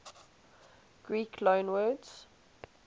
greek loanwords